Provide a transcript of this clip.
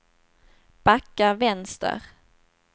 backa vänster